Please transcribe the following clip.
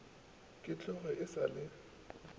ke tloge e sa le